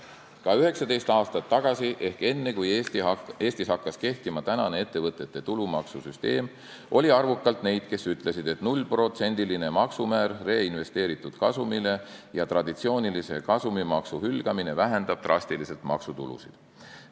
Ka 19 aastat tagasi ehk enne, kui Eestis hakkas kehtima tänane ettevõtete tulumaksu süsteem, oli arvukalt neid, kes ütlesid, et reinvesteeritud kasumi 0%-line maksumäär ja traditsioonilise kasumimaksu hülgamine vähendab drastiliselt maksutulusid.